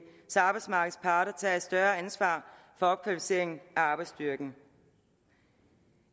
så arbejdsmarkedets parter tager et større ansvar for opkvalificering af arbejdsstyrken